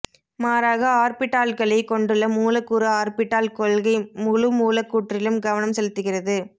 மாறாக ஆர்பிட்டால்களைக் கொண்டுள்ள மூலக்கூறு ஆர்பிட்டால் கொள்கை முழுமூலக்கூற்றிலும் கவனம் செலுத்துகிறது